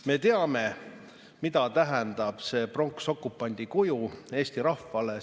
Me teame, mida tähendab see pronksokupandi kuju eesti rahvale.